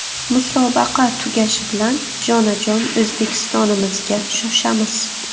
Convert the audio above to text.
Musobaqa tugashi bilan jonajon O‘zbekistonimizga shoshamiz.